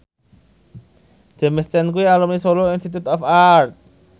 James Caan kuwi alumni Solo Institute of Art